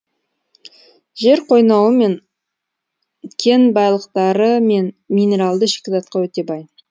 жер қойнауы кен байлықтары мен минералды шикізатқа өте бай